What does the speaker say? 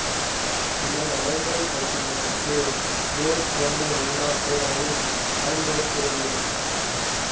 சில நடைமுறைப் பிரச்சினைகளுக்கு மேற் சொன்ன எல்லாத் துறைகளையுமே பயன்படுத்த வேண்டியிருக்கும்